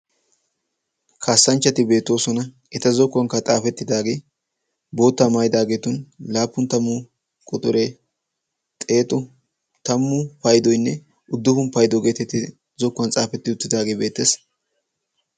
Kasanchchati beettoosona. eta zokkuwaankka xaafettidaagee bootta maayidagetun laappun tammu quxuree xeettu taammu paydoyinne uduppun paudo geetettidi zokkuwaan xaafetti uttidaagee beettees.